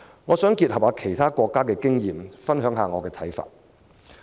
我想結合其他國家的經驗，分享一下我的看法。